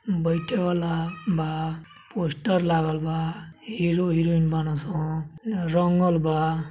बैठेवाला बा पोस्टर लागल बा हीरो हीरोइन बानसं रंगल बा।